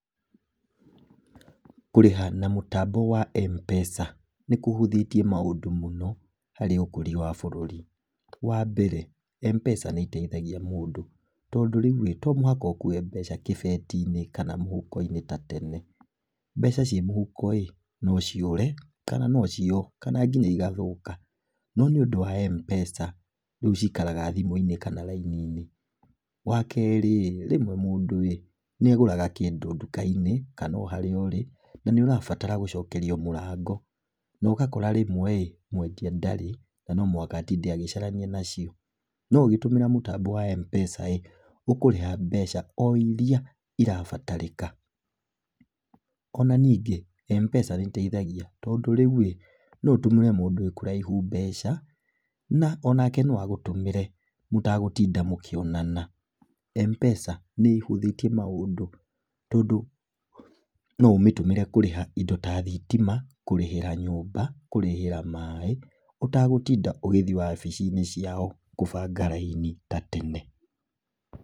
Kũrĩha na mũtambo wa M-PESA, nĩ kũhũthĩtie maũndũ mũno harĩ ũkũria wa bũrũri. Wa mbere, M-PESA, nĩiteithagia mũndũ, tondũ rĩu rĩ, to mũhaka ũkuwe mbeca kĩbeti-inĩ ta tene. Mbeca ci mũhukono ciũre, no ciiywo kana hihi igathũka, no nĩũndũ wa mpesa, rĩũ cikaraga thimũ-inĩ kana raini-inĩ. Wa kerĩ rĩ, rĩmwe mũndũ ĩ, nĩagũraga kĩndũ ndũka-inĩ kana ona harĩa ũrĩ, na nĩũrabatara gũcokerio mũrango, na ũgakora rĩmweĩ mwendia ndarĩ, no mũhaka agũtinda agĩcarania nacioĩ, no ũkĩhũthĩra mũtambo wa mpesarĩ, ũkũrĩha mbeca o irĩa, irabatarĩka. Ona nyingĩ, Mpesa nĩ ĩteithagia, tondũ rĩu rĩ, no ũtũmĩre mũndũ ekũraihu mbeca, onake no agũtũmĩre mũtegũtinda mũkĩonana. Mpesa nĩ ĩhũthĩtie maũndũ tondũ no ũmĩhũthĩre kũrĩha indo ta thitima, kũrĩhĩra nyũmba, kũrĩhĩra maĩ, ũtegũtinda ũgĩthiĩ wabici-inĩ ciao kũbanga raini ta tene.